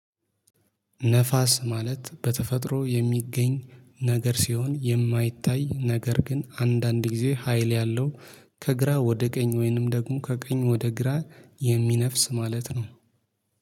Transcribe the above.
ነፋስ ማለት በተፈጥሮ የሚገኝ ነገር ሲሆን የማይታይ ነገር ግን አንዳንድ ጊዜ ሀይል ያለው ከግራ ወደ ቀኝ ወይንም ደግሞ ከቀኝ ወደ ግራ የሚነፍስ ማለት ነው።